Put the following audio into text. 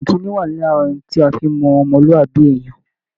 Ìkínni wà lára ohun tí a fi ń mọ ọmọlúàbí èèyàn